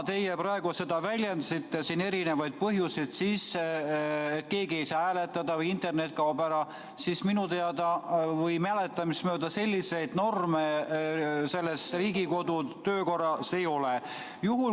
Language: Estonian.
Te praegu nimetasite siin erinevaid põhjuseid, näiteks et keegi ei saa hääletada või internet kaob ära – minu teada või minu mäletamist mööda selliseid norme Riigikogu kodu- ja töökorras ei ole.